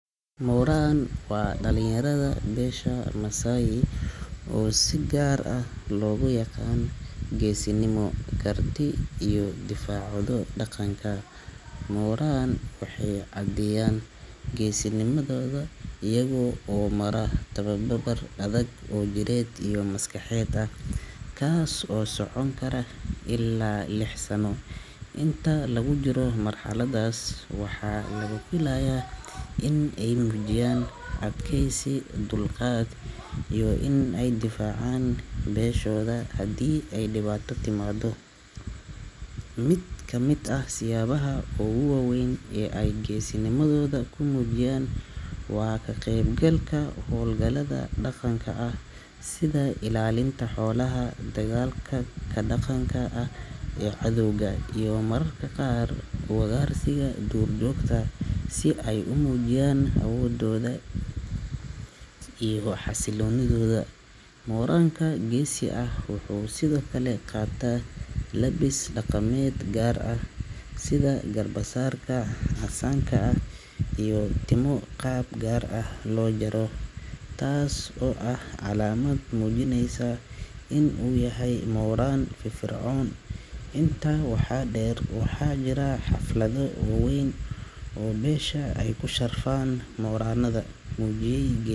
Moran waa dhalinyarada beesha Maasai oo si gaar ah loogu yaqaan geesinimo, karti, iyo difaacooda dhaqanka. Moran waxay caddeeyaan geesinimadooda iyaga oo mara tababar adag oo jireed iyo maskaxeed ah, kaas oo socon kara ilaa lix sano. Inta lagu jiro marxaladdaas, waxaa laga filayaa in ay muujiyaan adkaysi, dulqaad, iyo in ay difaacaan beeshooda hadii ay dhibaato timaado. Mid ka mid ah siyaabaha ugu waaweyn ee ay geesinimadooda ku muujiyaan waa ka qaybgalka hawlgallada dhaqanka ah sida ilaalinta xoolaha, dagaalka ka dhanka ah cadowga, iyo mararka qaar ugaarsiga duurjoogta si ay u muujiyaan awoodooda iyo xasilloonidooda. Moran-ka geesi ah wuxuu sidoo kale qaataa labis dhaqameed gaar ah, sida garbasaarka casaanka ah iyo timo qaab gaar ah loo jaro, taas oo ah calaamad muujinaysa in uu yahay moran firfircoon. Intaa waxaa dheer, waxaa jira xaflado waaweyn oo beesha ay ku sharfaan mor.